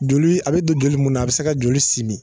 Joli a be don joli mun na a be se ka joli simin